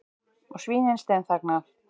Og svínin steinþagna.